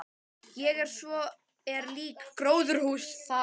Og svo er líka gróðurhús þar.